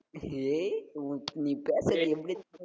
ஏய் உன் நீ பேசுறது எப்படி